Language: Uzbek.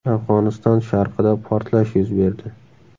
Afg‘oniston sharqida portlash yuz berdi.